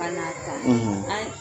Ka naa ta; ; An